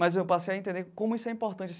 Mas eu passei a entender como isso é importante.